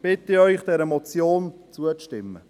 Deswegen bitte ich Sie, dieser Motion zuzustimmen.